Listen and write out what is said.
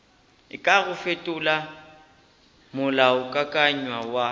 e kago fetola molaokakanywa wa